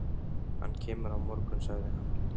Hann kemur á morgun, sagði hann.